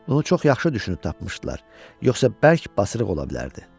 Bunu çox yaxşı düşünüb tapmışdılar, yoxsa bərk basırıq ola bilərdi.